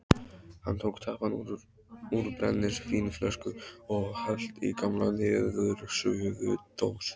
Hann tók tappann úr brennivínsflösku og hellti í gamla niðursuðudós.